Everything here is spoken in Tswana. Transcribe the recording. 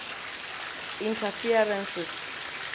interferences